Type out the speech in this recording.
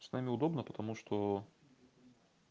с нами удобно потому что